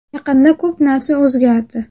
Yaqinda ko‘p narsa o‘zgardi.